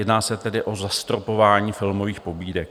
Jedná se tedy o zastropování filmových pobídek.